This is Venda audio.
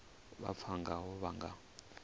vha pfana ngaho vha nga